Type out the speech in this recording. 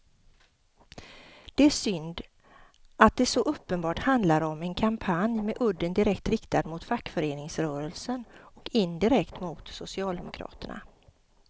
Det är synd att det så uppenbart handlar om en kampanj med udden direkt riktad mot fackföreningsrörelsen och indirekt mot socialdemokraterna.